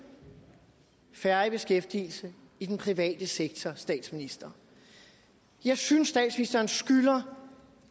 færre i beskæftigelse i den private sektor statsminister jeg synes statsministeren skylder